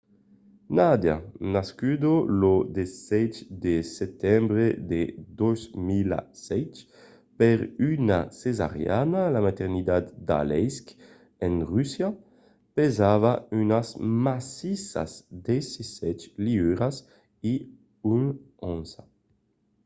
nadia nascuda lo 17 de setembre de 2007 per una cesariana a la maternitat d'aleisk en russia pesava unas massissas 17 liuras e 1 onça